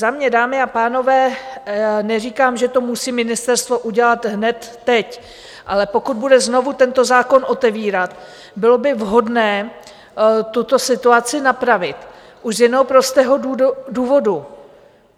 Za mě, dámy a pánové, neříkám, že to musí ministerstvo udělat hned teď, ale pokud bude znovu tento zákon otevírat, bylo by vhodné tuto situaci napravit, už z jednoho prostého důvodu.